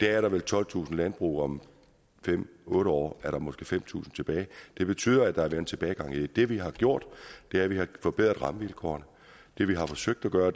er der vel tolvtusind landbrug og om fem otte år er der måske fem tusind tilbage det betyder at der er tilbagegang det vi har gjort er at vi har forbedret rammevilkårene det vi har forsøgt at gøre